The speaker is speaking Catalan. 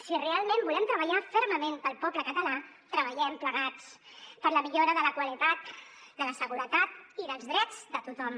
si realment volem treballar fermament pel poble català treballem plegats per la millora de la qualitat de la seguretat i dels drets de tothom